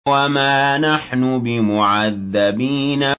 وَمَا نَحْنُ بِمُعَذَّبِينَ